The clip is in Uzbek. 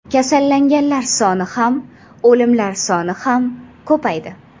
Kasallanganlar soni ham, o‘limlar soni ham ko‘paydi.